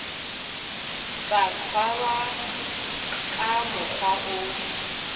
tla tshwarwa ka mokgwa o